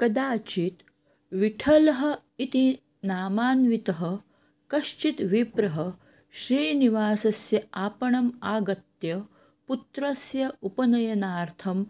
कदाचित् विठलः इति नामान्वितः कश्चित् विप्रः श्रीनिवासस्य आपणम् आगत्य पुत्रस्य उपनयनार्थम्